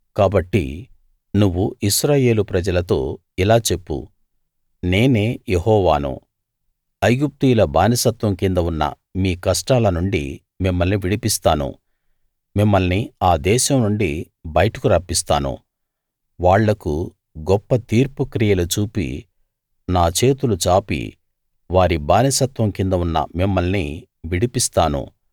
కాబట్టి నువ్వు ఇశ్రాయేలు ప్రజలతో ఇలా చెప్పు నేనే యెహోవాను ఐగుప్తీయుల బానిసత్వం కింద ఉన్న మీ కష్టాల నుండి మిమ్మల్ని విడిపిస్తాను మిమ్మల్ని ఆ దేశం నుండి బయటకు రప్పిస్తాను వాళ్లకు గొప్ప తీర్పు క్రియలు చూపి నా చేతులు చాపి వారి బానిసత్వం కింద ఉన్న మిమ్మల్ని విడిపిస్తాను